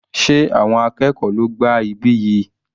Sé àwọn akẹ́kọ̀ọ́ ló gbá ibí yìí?